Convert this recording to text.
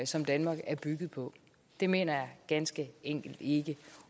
som danmark er bygget på det mener jeg ganske enkelt ikke